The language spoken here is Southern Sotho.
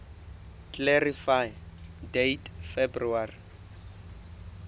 clarify date february